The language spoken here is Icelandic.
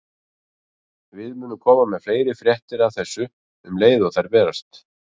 Við munum koma með fleiri fréttir af þessu um leið og þær berast.